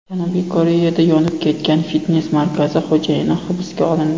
Janubiy Koreyada yonib ketgan fitnes markazi xo‘jayini hibsga olindi.